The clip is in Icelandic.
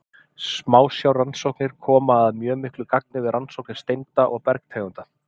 Smásjárrannsóknir koma að mjög miklu gagni við rannsóknir steinda og bergtegunda.